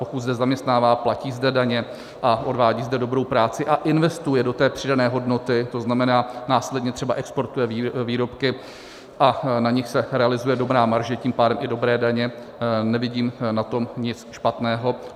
Pokud zde zaměstnává, platí zde daně a odvádí zde dobrou práci a investuje do té přidané hodnoty, to znamená, následně třeba exportuje výrobky a na nich se realizuje dobrá marže, tím pádem i dobré daně, nevidím na tom nic špatného.